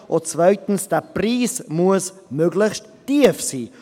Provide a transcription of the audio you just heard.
Und zweitens: Dieser Preis muss möglichst tief sein;